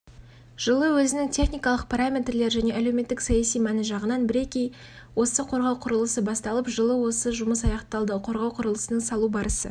жылы өзінің техникалық параметрлері және әлеуметтік-саяси мәні жағынан бірегей осы қорғау құрылысы басталып жылы осы жұмыс аяқталды қорғау құрылысының салу барысы